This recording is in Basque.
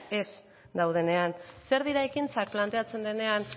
ez daudenean zer dira ekintzak planteatzen denean